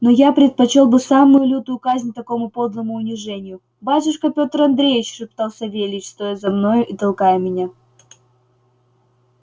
но я предпочёл бы самую лютую казнь такому подлому унижению батюшка пётр андреич шептал савельич стоя за мною и толкая меня